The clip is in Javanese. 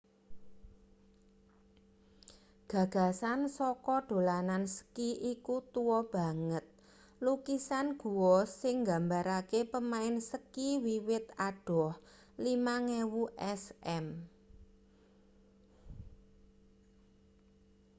gagasan saka dolanan ski iku tua banget lukisan gua sing nggambarake pemain ski wiwit adoh 5000 sm